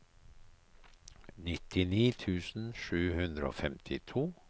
nittini tusen sju hundre og femtito